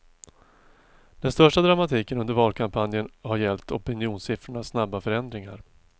Den största dramatiken under valkampanjen har gällt opinionssiffrornas snabba förändringar.